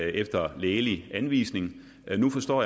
efter lægelig anvisning men nu forstår